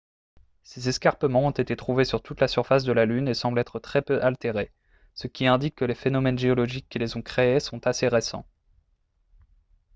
ces escarpements ont été trouvés sur toute la surface de la lune et semblent être très peu altérés ce qui indique que les phénomènes géologiques qui les ont créés sont assez récents